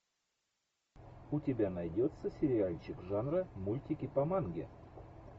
у тебя найдется сериальчик жанра мультики по манге